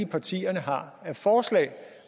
partierne har af forslag